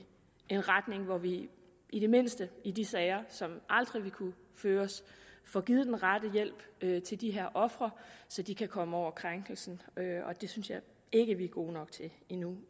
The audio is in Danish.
en retning hvor vi i det mindste i de sager som aldrig vil kunne føres får givet den rette hjælp til de her ofre så de kan komme over krænkelsen det synes jeg ikke at vi er gode nok til endnu